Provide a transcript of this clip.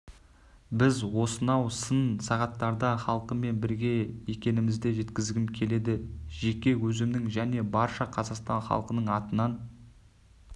біз осынау сын сағаттарда халқымен бірге екенімізді жеткізгім келеді жеке өзімнің және барша қазақстан халқының атынан